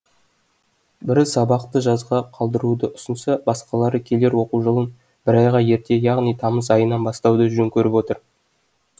бірі сабақты жазға қалдыруды ұсынса басқалары келер оқу жылын бір айға ерте яғни тамыз айынан бастауды жөн көріп отыр